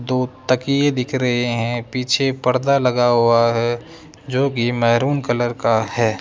दो तकिए दिख रहे है पीछे पर्दा लगा हुआ हैं जोकि मैरून कलर का हैं।